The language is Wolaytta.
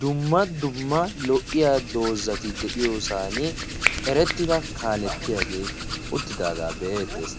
dumma dumma lo77iya doozzati de7iyoosan erettida kaalettiyaagee uttidaagaa be'ayidda dayis.